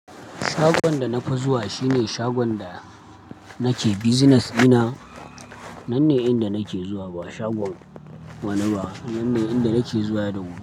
Shagon da na zuwa shi ne shagon da nake bizinas dina. Nan ne inda nake zuwa ba shagon wani ba. Nan ne inda nake zuwa da wuri.